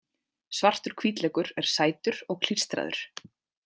Svartur hvítlaukur er sætur og klístraður.